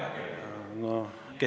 Oma käega kirjutatud!